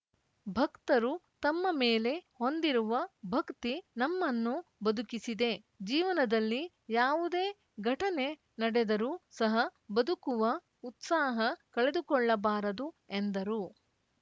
ಭಕ್ತರು ತಮ್ಮ ಮೇಲೆ ಹೊಂದಿರುವ ಭಕ್ತಿ ನಮ್ಮನ್ನು ಬದುಕಿಸಿದೆ ಜೀವನದಲ್ಲಿ ಯಾವುದೇ ಘಟನೆ ನಡೆದರೂ ಸಹ ಬದುಕುವ ಉತ್ಸಾಹ ಕಳೆದುಕೊಳ್ಳಬಾರದು ಎಂದರು